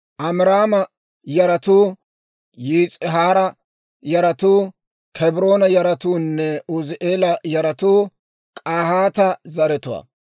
Amiraama yaratuu, Yis'ihaara yaratuu, Kebroona yaratuunne Uuzi'eela yaratuu K'ahaata zaratuwaa.